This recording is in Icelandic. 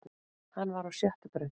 Hann var á sjöttu braut